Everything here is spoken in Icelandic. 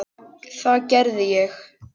Það gerði ég.